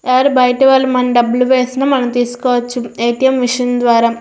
ఎవరైనా బయటి వాళ్లు మనకు డబ్బులు వేసిన తీసుకోవచ్చు ఏటీఎం మిషన్ ద్వారా--